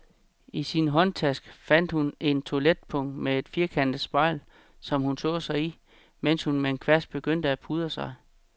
I sin håndtaske fandt hun et toiletpung med et firkantet spejl, som hun så sig i, mens hun med en kvast begyndte at pudre sig.